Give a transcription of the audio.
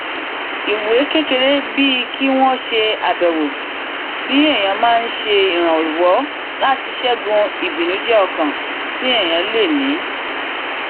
ìwà kékeré bíi kí wón ṣe àbẹwò sí èèyàn máa n ṣe ìrànwọ láti ṣẹgun ibìnújẹọkàn tí èèyàn lè ní